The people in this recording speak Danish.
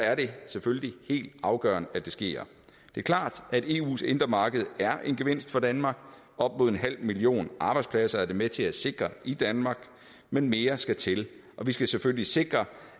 er det selvfølgelig helt afgørende at det sker det er klart at eus indre marked er en gevinst for danmark op imod en halv million arbejdspladser er det med til at sikre i danmark men mere skal til og vi skal selvfølgelig sikre